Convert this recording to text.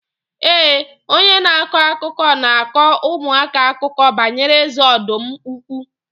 Ee, onye na-akọ akụkọ na-akọ ụmụaka akụkọ banyere eze ọdụm ukwu.